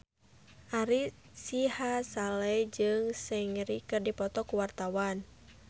Ari Sihasale jeung Seungri keur dipoto ku wartawan